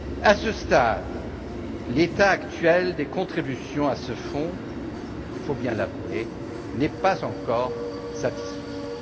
À ce stade, l'état des contributions à ce fonds il faut bien l'avouer n'est pas encore satisfaisant.